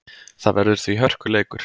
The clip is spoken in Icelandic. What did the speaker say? Það verður því hörkuleikur.